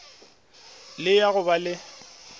le ya go ba le